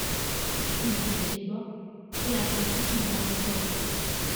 báwo ni kí n tiẹ ṣe gbọ ṣe akin tí kì í bá mi sọrọ